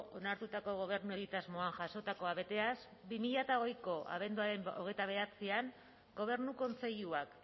onartutako gobernu egitasmoan jasotakoa beteaz bi mila hogeiko abenduaren hogeita bederatzian gobernu kontseiluak